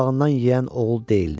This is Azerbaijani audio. boğundan yeyən oğul deyildi.